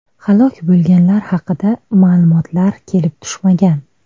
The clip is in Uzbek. Halok bo‘lganlar haqida ma’lumotlar kelib tushmagan.